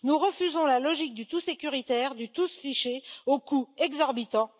Nous refusons la logique du tout sécuritaire, du tous fichés aux coûts exorbitants.